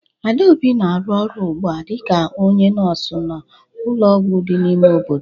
Adaobi na-arụ ọrụ ugbu a dịka onye nọọsụ n'ụlọọgwụ dị n'ime obodo.